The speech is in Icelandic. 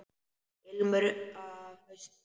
Ilmur af hausti!